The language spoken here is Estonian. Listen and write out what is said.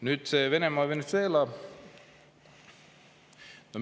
Nüüd, Venemaa ja Venezuela.